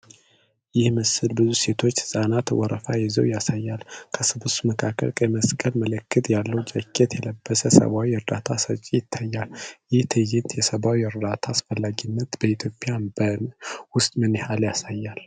ይህ ምስል ብዙ ሴቶችና ሕፃናት ወረፋ ይዘው ያሳያል። ከስብስቡ መካከል ቀይ መስቀል ምልክት ያለው ጃኬት የለበሰ ሰብዓዊ እርዳታ ሰጪ ይታያል። ይህ ትዕይንት የሰብዓዊ ዕርዳታ አስፈላጊነትን በኢትዮጵያ ውስጥ ምን ያህል ያሳያል?